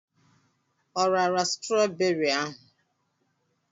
O rara strawberị ahụ?